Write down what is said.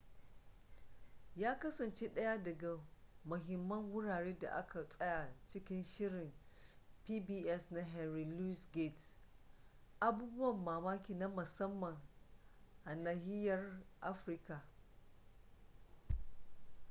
ya kasance ɗaya daga mahimman wurare da aka tsaya cikin shirin pbs na henry louis gates abubuwan mamaki na musamman a nahiyar afirka